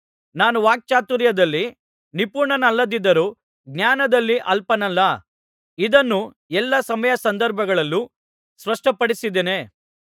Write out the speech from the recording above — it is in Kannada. ನಾನು ವಾಕ್ಚಾತುರ್ಯದಲ್ಲಿ ನಿಪುಣನಲ್ಲದಿದ್ದರೂ ಜ್ಞಾನದಲ್ಲಿ ಅಲ್ಪನಲ್ಲ ಇದನ್ನು ಎಲ್ಲಾ ಸಮಯಸಂದರ್ಭಗಳಲ್ಲೂ ಸ್ಪಷ್ಟಪಡಿಸಿದ್ದೇನೆ